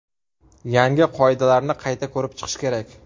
Yangi qoidalarni qayta ko‘rib chiqish kerak.